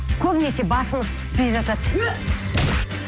көбінесе басымыз піспей жатады ө